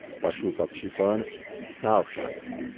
પશુ પક્ષી પણ સાવ શાંત.